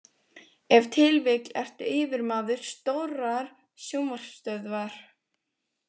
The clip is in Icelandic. Ef til vill ertu yfirmaður stórrar sjónvarpsstöðvar.